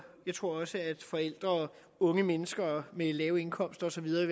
jeg tror også at forældre og unge mennesker med lave indkomster og så videre